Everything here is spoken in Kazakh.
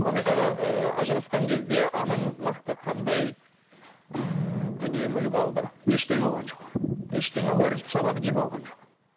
мұхаммед аға ыыы ажырасқан кезде анаңыз нақты қандай ыыы дүние мүлік алды ештеңе алған жоқ ештеңе алған бір сабақ жіп алған жоқ